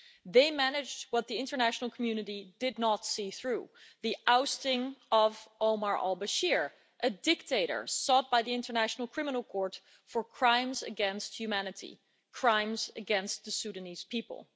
They managed what the international community did not see through the ousting of Omar al-Bashir, a dictator sought by the International Criminal Court for crimes against humanity crimes against the Sudanese people.